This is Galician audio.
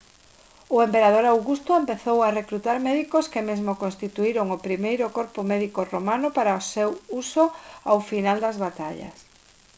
o emperador augusto empezou a recrutar médicos que mesmo constituíron o primeiro corpo médico romano para o seu uso ao final das batallas